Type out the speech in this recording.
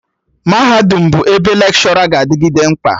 Mahadum bụ ebe Lekshọra ga-adịgịde mkpa